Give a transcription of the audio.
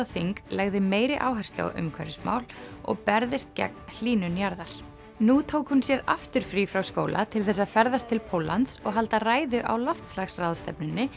þing legði meiri áherslu á umhverfismál og berðist gegn hlýnun jarðar nú tók hún sér aftur frí frá skóla til þess að ferðast til Póllands og halda ræðu á loftslagsráðstefnunni